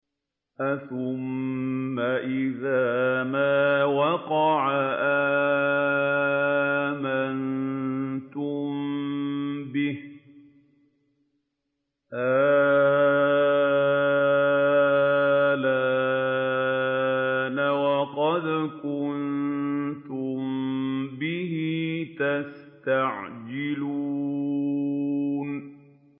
أَثُمَّ إِذَا مَا وَقَعَ آمَنتُم بِهِ ۚ آلْآنَ وَقَدْ كُنتُم بِهِ تَسْتَعْجِلُونَ